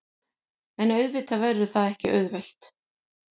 En auðvitað verður það ekki auðvelt